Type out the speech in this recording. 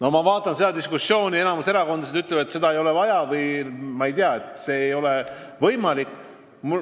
Aga ma näen, et enamik erakondasid ütleb, et seda ei ole vaja või et see ei ole võimalik.